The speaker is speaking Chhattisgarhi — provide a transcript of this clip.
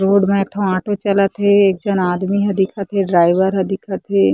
रोड में एक ठो ऑटो चलत हे एक झन आदमी ह दिखत हे ड्राइवर ह दिखत हे।